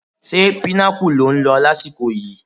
Ṣé Pinnacle lò ń lọ lásìkò yìí?